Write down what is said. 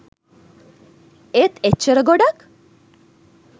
ඒත් එච්චර ගොඩක්